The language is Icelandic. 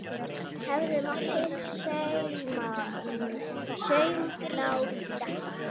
Hefði mátt heyra saumnál detta.